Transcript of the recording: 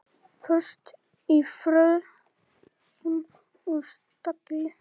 Föst í frösum og stagli.